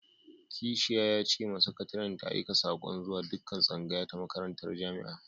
Kashiya ya ce ma sakataren ta aika sako zuwa dukkan tsngaya ta makarantar jami'a.